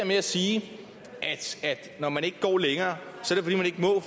med at sige at når man ikke går længere